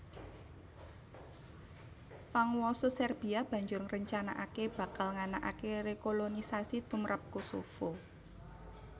Panguwasa Serbia banjur ngrencanakaké bakal nganakaké rekolonisasi tumrap Kosovo